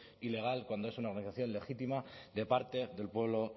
ilegal cuando es una organización legítima de parte del pueblo